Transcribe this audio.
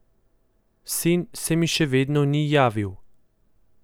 Sin se mi še vedno ni javil.